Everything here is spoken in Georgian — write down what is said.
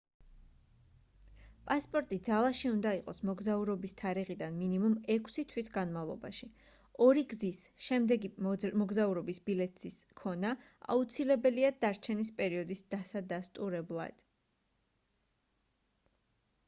პასპორტი ძალაში უნდა იყოს მოგზაურობის თარიღიდან მინიმუმ 6 თვის განმავლობაში. ორი გზის/შემდეგი მოგზაურობის ბილეთის ქონა აუცილებელია დარჩენის პერიოდის დასადასტურებლად